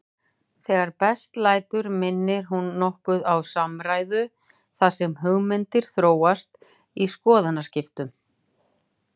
Þegar best lætur minnir hún nokkuð á samræðu þar sem hugmyndir þróast í skoðanaskiptum.